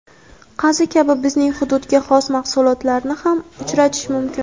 qazi kabi bizning hududga xos mahsulotlarni ham uchratish mumkin.